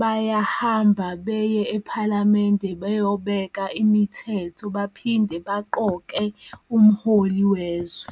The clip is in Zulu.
bayahamba beye ephalamende beyobeka imithetho baphinde baqoke umholi wezwe.